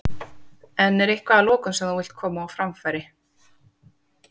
En er eitthvað að lokum sem þú vilt koma á framfæri?